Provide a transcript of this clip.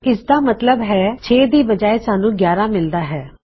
ਇਸਦਾ ਮਤਲਬ ਹੈ 6 ਦੀ ਬਜਾਏ ਸਾਨੂੰ 11 ਮਿਲਦਾ ਹੈ